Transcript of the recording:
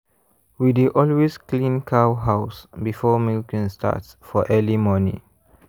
we dey always clean cow house before milking start for early morning.